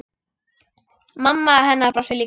Mamma hennar brosir líka.